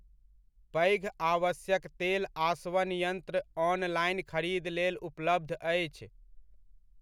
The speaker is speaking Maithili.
पैघ आवश्यक तेल आसवन यंत्र ऑनलाइन खरीद लेल उपलब्ध अछि।